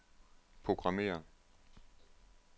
programmér